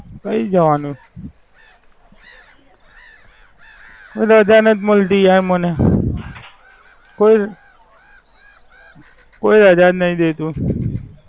ફરી જવાનું. રજા નથી મળતી યાર મને. કોઈ કોઈ અજાણ નથી દેતું.